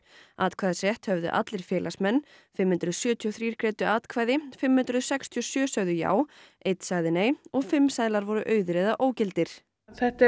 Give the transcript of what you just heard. atkvæðisrétt höfðu allir félagsmenn fimm hundruð sjötíu og þrjú greiddu atkvæði fimm hundruð sextíu og sjö sögðu já einn sagði nei og fimm seðlar voru auðir eða ógildir þetta